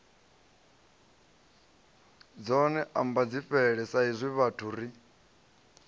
dzone ambadzifhele saizwi vhathu ri